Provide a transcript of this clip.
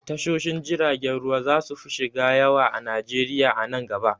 Tashoshin jirgin ruwa zasu fi shida yawa a najeriya a nan gaba.